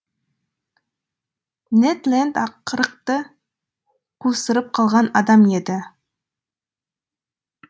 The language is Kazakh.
нед ленд аққырықты қусырып қалған адам еді